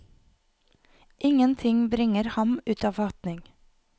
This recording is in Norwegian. Ingenting bringer ham ut av fatning.